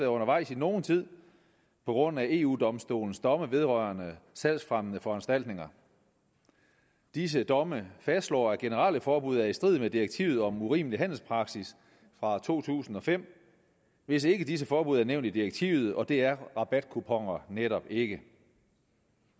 undervejs i nogen tid på grund af eu domstolens domme vedrørende salgsfremmende foranstaltninger disse domme fastslår at generelle forbud er i strid med direktivet om urimelig handelspraksis fra to tusind og fem hvis ikke disse forbud er nævnt i direktivet og det er rabatkuponer netop ikke